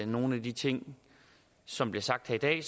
nogle af de ting som bliver sagt her i dag